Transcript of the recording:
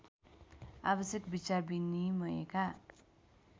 आवश्यक विचार विनिमयका